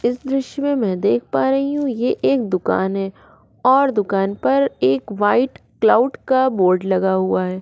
इस दॄश्य में दिख पा रही हु ये एक दुकान है और दुकान पर एक व्हाइट क्लाउड का बोर्ड लगा हुआ है।